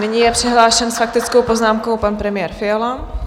Nyní je přihlášen s faktickou poznámkou pan premiér Fiala.